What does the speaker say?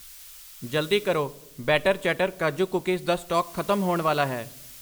ਜਲਦੀ ਕਰੋ, better chatter ਕਾਜੂ ਕੂਕੀਜ਼ ਦਾ ਸਟਾਕ ਖਤਮ ਹੋਣ ਵਾਲਾ ਹੈ I